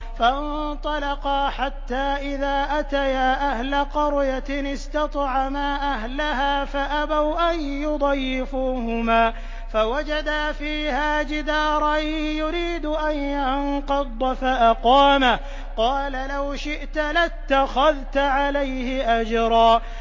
فَانطَلَقَا حَتَّىٰ إِذَا أَتَيَا أَهْلَ قَرْيَةٍ اسْتَطْعَمَا أَهْلَهَا فَأَبَوْا أَن يُضَيِّفُوهُمَا فَوَجَدَا فِيهَا جِدَارًا يُرِيدُ أَن يَنقَضَّ فَأَقَامَهُ ۖ قَالَ لَوْ شِئْتَ لَاتَّخَذْتَ عَلَيْهِ أَجْرًا